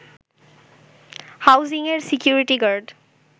হাউজিংয়ের security guard